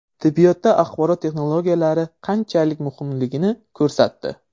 Tibbiyotda axborot texnologiyalari qanchalik muhimligini ko‘rsatdi.